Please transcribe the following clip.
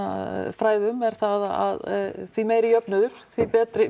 fræðum er það að því meiri jöfnuður því betri